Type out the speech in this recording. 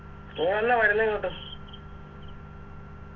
നീ എന്നാ വരുന്നേ ഇങ്ങോട്ട്